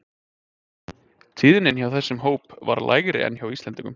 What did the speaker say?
Tíðnin hjá þessum hóp var lægri en hjá Íslendingum.